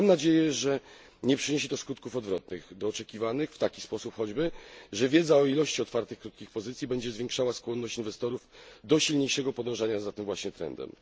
Mam nadzieję, że nie przyniesie to skutków odwrotnych do oczekiwanych, w taki choćby sposób, że wiedza o ilości otwartych krótkich pozycji będzie zwiększała skłonność inwestorów do silniejszego podążania za tym właśnie trendem.